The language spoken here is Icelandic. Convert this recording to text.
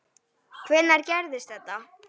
Hvenær gerðist þetta?